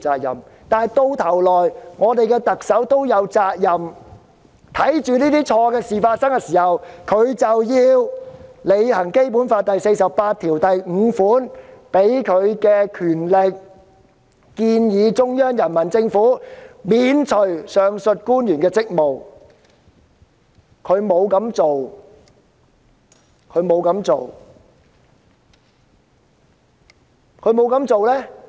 說到底，特首在這方面也有責任，她見到這些官員出錯，便應行使《基本法》第四十八條第五項賦予的權力，即"建議中央人民政府免除上述官員職務"，但她沒有這樣做。